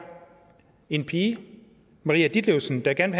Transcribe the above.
en pige maria ditlevsen der gerne